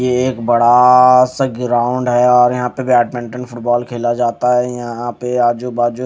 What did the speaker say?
ये एक बड़ा सा ग्राउंड है और यहां पे बैडमिंटन फुटबॉल खेला जाता है यहां पे आजू बाजू--